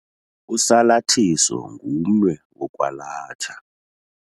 Usalathiso ngumnwe wokwalatha.